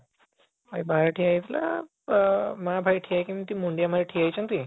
ଭାଇ ବାହାରେ ଠିଆ ହେଇଥିଲା ଅ ମା ଭାଇ ମୁଣ୍ଡିଆ ମାରିକି ଠିଆ ହେଇଛନ୍ତି